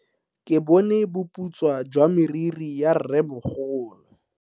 Ke bone boputswa jwa meriri ya rremogolo.